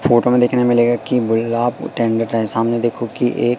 photo में देखने मिलेगा कि सामने देखो की ये--